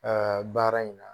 Aa baara in na.